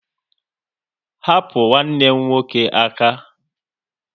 Hapu nwanne m nwoke aka!